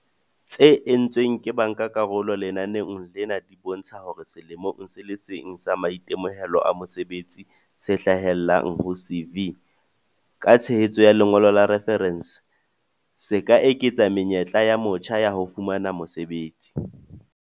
tse entsweng ke bankakarolo lenaneong lena di bontsha hore selemong se le seng sa maitemohelo a mosebetsi se hlahellang ho CV, ka tshehetso ya lengolo la refarense, se eketsa menyetla ya motjha ya ho fumana mosebetsi.